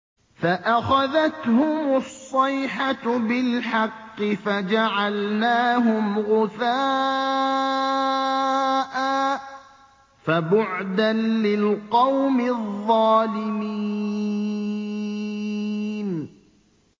فَأَخَذَتْهُمُ الصَّيْحَةُ بِالْحَقِّ فَجَعَلْنَاهُمْ غُثَاءً ۚ فَبُعْدًا لِّلْقَوْمِ الظَّالِمِينَ